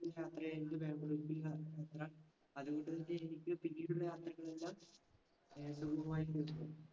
. അതുകൊണ്ടുതന്നെ എനിക്ക് പിന്നീടുള്ള യാത്രകളെല്ലാം .